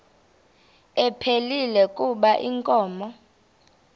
ephilile kuba inkomo